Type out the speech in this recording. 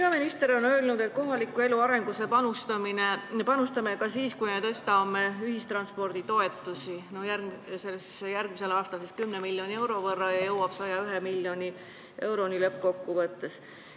Peaminister on öelnud, et kohaliku elu arengusse me panustame ka siis, kui suurendame ühistranspordi toetusi järgmisel aastal 10 miljoni euro võrra ja kui see summa jõuab 101 miljoni euroni lõppkokkuvõttes.